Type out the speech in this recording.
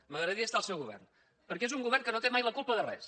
m’agradaria estar al seu govern perquè és un govern que no té mai la culpa de res